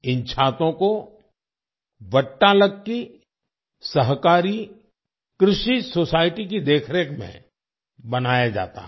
इन छातों को 'वट्टालक्की सहकारी कृषि सोसाइटी' की देखरेख में बनाया जाता है